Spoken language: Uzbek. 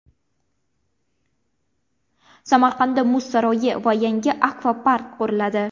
Samarqandda Muz saroyi va yangi akvapark quriladi.